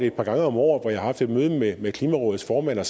et par gange om året har haft et møde med med klimarådets formand og